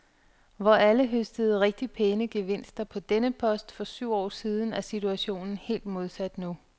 Hvor alle høstede rigtig pæne gevinster på denne post for syv år siden, er situationen helt modsat nu.